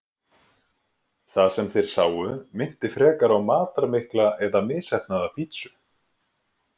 Það sem þeir sáu minnti frekar á matarmikla eða misheppnaða pítsu.